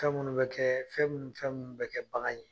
Fɛn minnu bɛ kɛ fɛn minnu ni fɛn minnu bɛ kɛ bagan ye